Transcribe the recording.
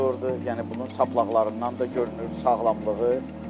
Yəni bunun saplaqlarından da görünür sağlamlığı.